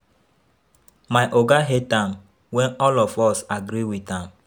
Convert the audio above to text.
My oga hate am when all of us agree with am